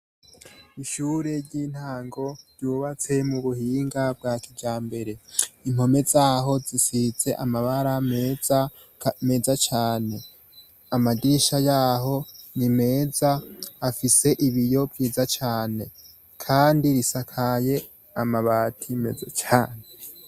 Ishure ry'intango ryubatse mu buhinga bwa kijambere. Impome zaho zisize amabara meza, meza cane. Amadirisha yaho ni meza, afise ibiyo vyiza cane kandi risakaye amabati meza cane.